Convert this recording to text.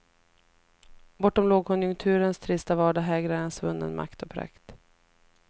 Bortom lågkonjunkturens trista vardag hägrar en svunnen makt och prakt.